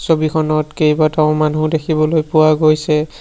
ছবিখনত কেইবাটাও মানুহ দেখিবলৈ পোৱা গৈছে।